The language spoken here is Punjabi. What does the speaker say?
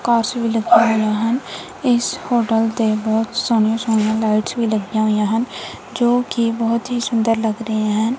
ਕਾਂਚ ਵੀ ਲੱਗੀਆਂ ਹੋਈਆਂ ਹਨ ਇਸ ਹੋਟਲ ਤੇ ਬਹੁਤ ਸੋਹਣੀਆਂ ਸੋਹਣੀਆਂ ਲਾਈਟਸ ਵੀ ਲੱਗੀਆਂ ਹੋਈਆਂ ਹਨ ਜੋ ਕਿ ਬਹੁਤ ਹੀ ਸੁੰਦਰ ਲੱਗ ਰਹੇ ਹਨ।